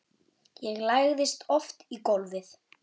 Ég lagðist oft í gólfið.